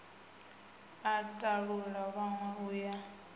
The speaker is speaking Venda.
a talula vhanwe u ya